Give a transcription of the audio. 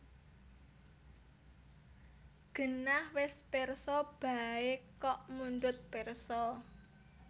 Genah wis pirsa baé kok mundhut pirsa